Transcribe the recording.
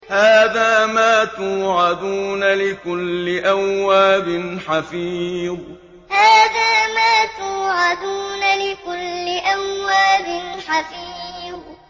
هَٰذَا مَا تُوعَدُونَ لِكُلِّ أَوَّابٍ حَفِيظٍ هَٰذَا مَا تُوعَدُونَ لِكُلِّ أَوَّابٍ حَفِيظٍ